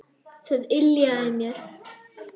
Það yljaði mér.